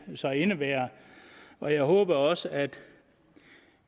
så indebærer og jeg håber også at